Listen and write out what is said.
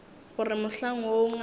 go re mohlang woo ngaka